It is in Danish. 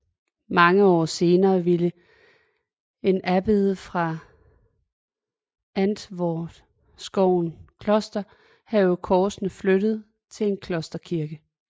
Mange år senere ville en abbed fra Antvorskov Kloster have korsene flyttet til en klosterkirke